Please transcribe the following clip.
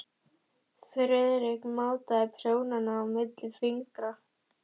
Friðrik mátaði prjónana milli fingra sér.